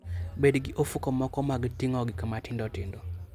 Bed gi ofuko moko mag ting'o gik matindo tindo.